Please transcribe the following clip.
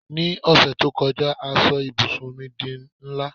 ni ọsẹ ti o kọjá a so ibùsùn mi di nla